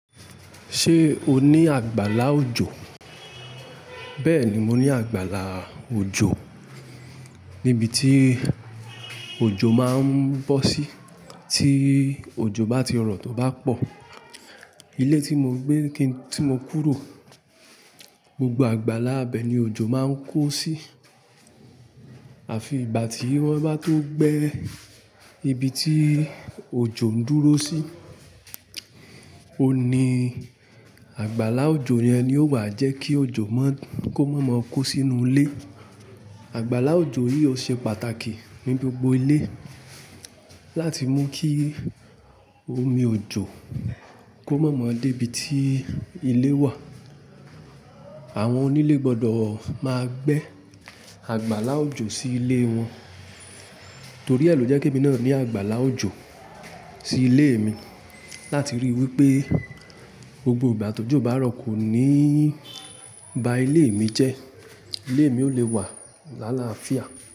Ṣé o ní àgbàlá òjò? Bẹ́ẹ̀ni, mo ní àgbàlá òjò. Nibiti òjò máa ń bọ́ sí, tí òjò bá ti rọ̀ tóbá pọ̀. Ilé tí mo gbé, kí ń tí mo kúrò, gbogbo àgbàlá ibẹ ni òjò máa ń kó sí. Àfi ìgbà tí wọ́n bá tó gbé ibi tí òjò ń dúró sí. Oun ní àgbàlá òjò yẹn ni ó wà jẹ́ kí òjò má- ko má mo kó sínú ilé. Àgbàlá òjò yìí ò ṣe pàtàkì ní gbogbo ilé. Láti mú kí omi òjò kó má mọ dé ibi tí ilé wà. Àwọn onílé gbọdọ̀ máa gbé àgbàlá òjò sí ilé wọn. Torí e lo je k'ẹ́mi náà ní àgbàlá òjò sí ilé mi. Láti rí wípé gbogbo ìgbà ti ojò bá rọ̀ kò ní bá ilé mi jẹ́. Ilé mi ò lè wà lálàáfíà.